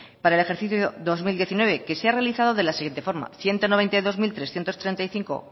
para el ejercicio dos mil diecinueve que se ha realizado de la siguiente forma ciento noventa y dos mil trescientos treinta y cinco